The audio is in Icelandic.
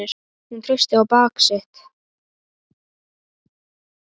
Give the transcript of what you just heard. Hún treysti á bak sitt.